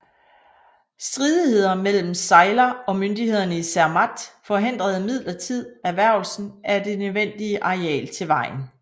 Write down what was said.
Stridigheder mellem Seiler og myndighederne i Zermatt forhindrede imidlertid erhvervelsen af dent nødvendige areal til vejen